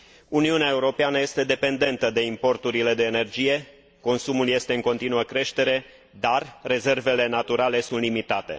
Uniunea Europeană este dependentă de importurile de energie, consumul este în continuă creștere, dar rezervele naturale sunt limitate.